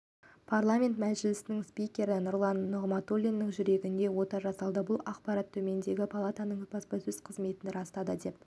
парламент мәжілісінің спикері нұрлан нығматулиннің жүрегіне ота жасалды бұл ақпаратты төменгі палатаның баспасөз қызметі растады деп